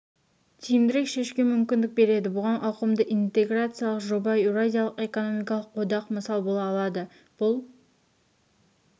тиімдірек шешуге мүмкіндік береді бұған ауқымды интеграциялық жоба еуразиялық экономикалық одақ мысал бола алады бұл